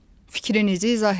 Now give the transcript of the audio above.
Fikrinizi izah edin.